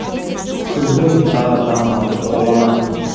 күздің сары таңы атып бола ма